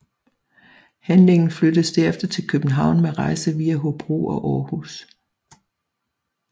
Handlingen flyttes derefter til København med rejse via Hobro og Aarhus